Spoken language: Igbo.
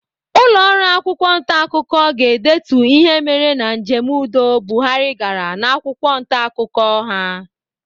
Ụlọọrụ akwụkwọ ntaakụkọ ga-edetu ihe mere na njem udo Buhari gara n'akwụkwọ ntaakụkọ ha.